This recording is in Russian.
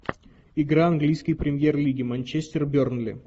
игра английской премьер лиги манчестер бернли